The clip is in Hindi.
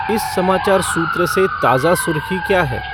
इस समाचार सूत्र से ताज़ा सुर्ख़ी क्या है